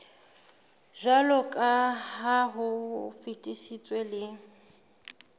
jwaloka ha o fetisitswe le